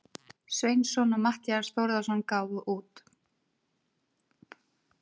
Sveinsson og Matthías Þórðarson gáfu út.